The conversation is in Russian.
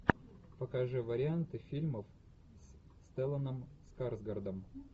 покажи варианты фильмов с стелланом скарсгардом